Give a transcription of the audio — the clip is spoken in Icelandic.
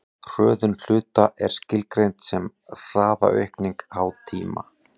hröðun hluta er skilgreind sem hraðaaukning háð tíma